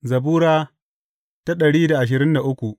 Zabura Sura dari da ashirin da uku